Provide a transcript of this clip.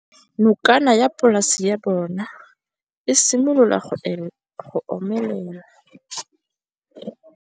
Nokana ya polase ya bona, e simolola go omelela.